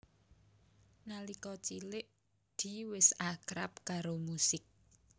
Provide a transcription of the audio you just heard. Nalika cilik Dee wis akrab karo musik